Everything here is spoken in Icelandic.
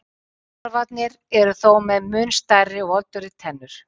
Tarfarnir eru þó með mun stærri og voldugri tennur.